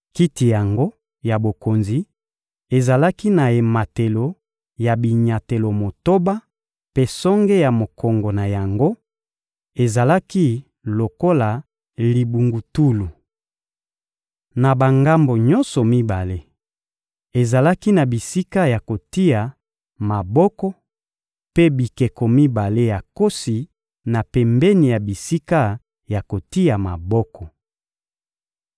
Kiti yango ya bokonzi ezalaki na ematelo ya binyatelo motoba mpe songe ya mokongo na yango ezalaki lokola libungutulu. Na bangambo nyonso mibale, ezalaki na bisika ya kotia maboko mpe bikeko mibale ya nkosi na pembeni ya bisika ya kotia maboko.